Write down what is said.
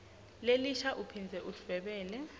lelisha uphindze udvwebele